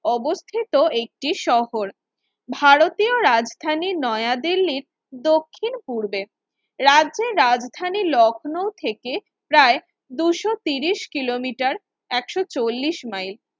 অবস্থিত একটি শহর ভারতীয় রাজধানীর নয়া দিল্লির দক্ষিণ পূর্বে, রাজ্যে রাজধানী লক্ষনৌ থেকে প্রায় দুশো তিরিশ কিলোমিটার একশো চল্লিশ মাইল